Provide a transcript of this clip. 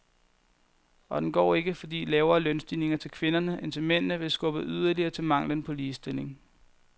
Og den går ikke, fordi lavere lønstigninger til kvinderne end til mændene vil skubbe yderligere til manglen på ligestilling.